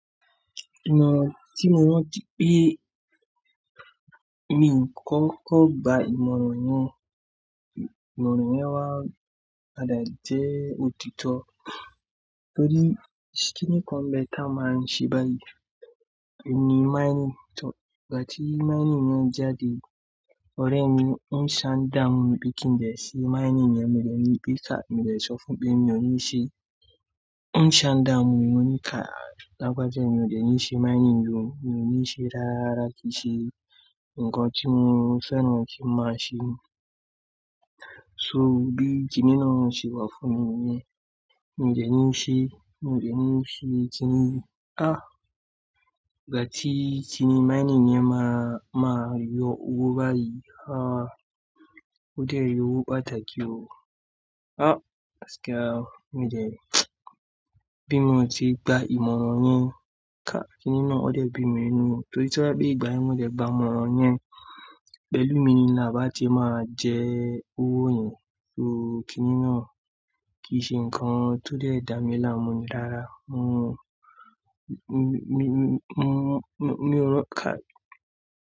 Ìmọ̀ràn tí mo rántí pé mi i kọ́kọ́ gba ìmọ̀ràn yẹn. Ìmọ̀ràn yẹn wá padà jẹ́ òtítọ́. Torí kíni kan n bẹ́ẹ̀ tá máa ń ṣe báyìí, ohun níí mining, gbà tí mining náà jáde ọ̀rẹ́ mi ń ṣà dámù mi pé kí n bẹ̀ẹ̀rẹ̀ ṣí i mining rẹ̀ mo dẹ̀ ní pé ká, mo dẹ̀ sọ fún pé mi ò ní ṣe. Ń ṣà ǹ dámù mi ni ká lágbájá mi ò dẹ̀ ní ṣe mining yí o, mi ò ní ṣe rárá rárá kí i ṣe nǹkan tí mo fẹ́ràn kí ń má ṣe. So, bí kiní náà ṣe wà fún mi nìyẹn, mí i dẹ̀ ní ṣe kiní yẹn, ah! Láti kiní mining yẹn máa, máa yọ owó báyìí. Ah! Ó dẹ̀ yọ owó pàtàkì ó. Ah! Mo dẹ̀ bí mo ti gba ìmọ̀ràn yẹn ká, kiní náà ó dẹ̀ bí mi nù. Torí tó bá jẹ́ ìgbà yẹn mo dẹ̀ gbà ìmọ̀ràn yẹn, pẹ̀lú mi ni à bá ti máa jẹ owó yẹn. Irú kiní náà kì í ṣe nǹkan tó dẹ́ dà mí láàmú rárá. Mo, mo, mo, mo, mo, mi ò ro kái.